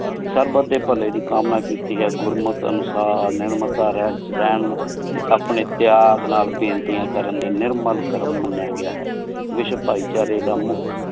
ਸਬ ਡੀ ਭਲੀ ਦੀ ਕਾਮਨਾ ਕੀਤੀ ਗੁਰ ਮਤ ਅਨੁਸਾਰ ਨੇਰ੍ਮਾਤਾਂ ਰਹਨ ਵਿਚ ਰਹਨ ਟੀ ਅਪਨੀ ਪ੍ਯਾਗ ਪ੍ਯਾਰ ਨਾਲ ਬੇੰਤੀਯਾਂ ਕਰਨ ਨਿਰਮਲ ਕਰਮ ਮਾਨ੍ਯ ਗਯਾ ਹੈ ਭਾਈ ਚਾਰੀ ਦਾ ਮੁਖ